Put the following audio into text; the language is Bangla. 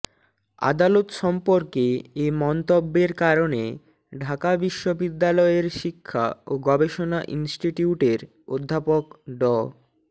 আদালত সম্পর্কে এ মন্তব্যের কারণে ঢাকা বিশ্ববিদ্যালয়ের শিক্ষা ও গবেষণা ইনস্টিটিউটের অধ্যাপক ড